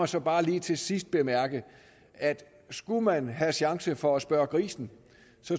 så bare lige til sidst bemærke at skulle man have en chance for at spørge grisen